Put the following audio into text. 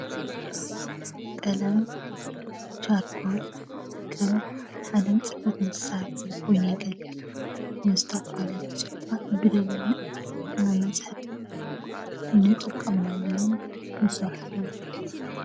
ቀለም ቻርኮል ከም ሓደ ፅሕፈት መሳርሒ ኮይኑ የገልግል። ንዝተፈላለዪ ፅሑፋት ብደሚቅ ንመፅሐፊ ንጥቀመሎምን ንስርሐሎምን ።